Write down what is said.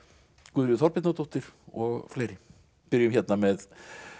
Guðríður Þorbjarnardóttir og fleiri byrjum hérna með